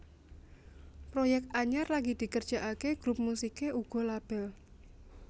Proyek anyar lagi dikerjakaké grup musiké uga label